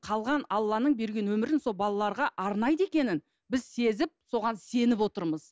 қалған алланың берген өмірін сол балаларға арнайды екенін біз сезіп соған сеніп отырмыз